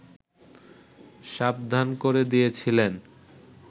সাবধান করে দিয়েছিলেন